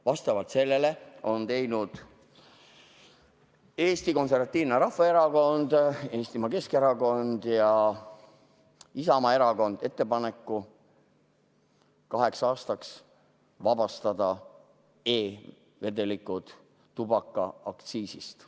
Vastavalt sellele on teinud Eesti Konservatiivne Rahvaerakond, Eestimaa Keskerakond ja Isamaa Erakond ettepaneku kaheks aastaks vabastada e-vedelikud tubakaaktsiisist.